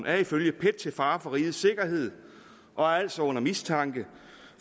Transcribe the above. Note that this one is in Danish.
er ifølge pet til fare for rigets sikkerhed og er altså under mistanke